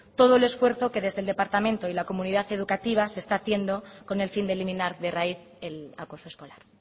todo el esfuerzo que desde el departamento y la comunidad educativa se está haciendo con el fin de eliminar de raíz el acoso escolar